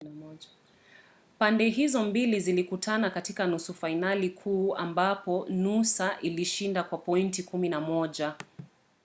pande hizo mbili zilikutana katika nusu fainali kuu ambapo noosa ilishinda kwa pointi 11